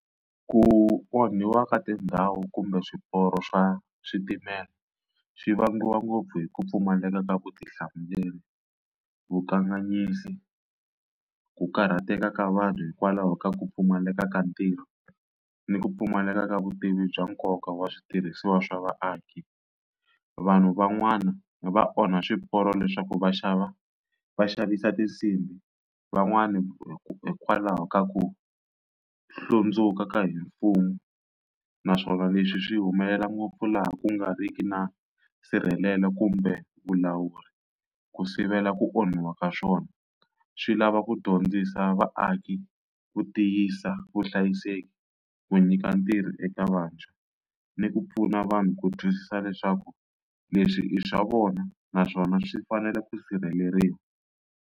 Ku onhiwa ka tindhawu kumbe swiporo swa switimela swi vangiwa ngopfu hi ku pfumaleka ka vutihlamuleri, vukanganyisi, ku karhateka ka vanhu hikwalaho ka ku pfumaleka ka ntirho ni ku pfumaleka ka vutivi bya nkoka wa switirhisiwa swa vaaki. Vanhu van'wana va onha swiporo leswaku vaxava va xavisa tinsimbhi, van'wani hikwalaho ka ku ku hlundzuka ka hi mfumo naswona leswi swi humelela ngopfu laha ku nga riki na nsirhelelo kumbe vulawuri ku sivela ku onhiwa ka swona. Swi lava ku dyondzisa vaaki ku tiyisa vuhlayiseki, ku nyika ntirho eka vantshwa ni ku pfuna vanhu ku twisisa leswaku leswi i swa vona naswona swi fanele ku sirheleriwa.